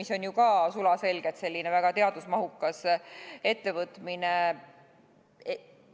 See on ju ka sulaselgelt väga teadusmahukas ettevõtmine.